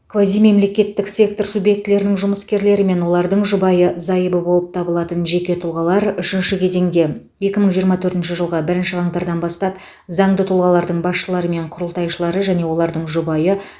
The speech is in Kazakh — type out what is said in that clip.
квазимемлекеттік сектор субъектілерінің жұмыскерлері мен олардың жұбайы зайыбы болып табылатын жеке тұлғалар үшінші кезеңде екі мың жиырма төртінші жылғы бірінші қаңтардан бастап заңды тұлғалардың басшылары мен құрылтайшылары және олардың жұбайы